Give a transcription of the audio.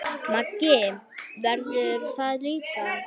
Maggi verður það líka.